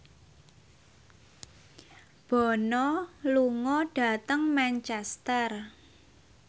Bono lunga dhateng Manchester